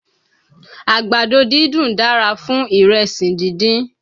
Àgbàdo dídùn dára fún ìrẹsì díndín